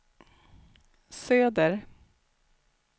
söder